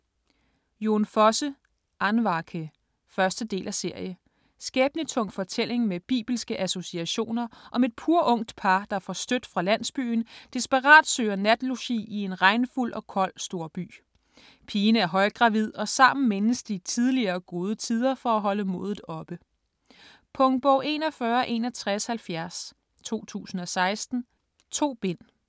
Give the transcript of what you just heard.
Fosse, Jon: Andvake 1. del af serie. Skæbnetung fortælling med bibelske associationer om et purungt par, der forstødt fra landsbyen desperat søger natlogi i en regnfuld og kold storby. Pigen er højgravid, og sammen mindes de tidligere gode tider for at holde modet oppe. Punktbog 416170 2016. 2 bind.